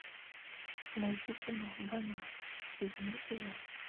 найти кино банан седьмой сезон